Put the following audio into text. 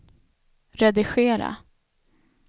redigera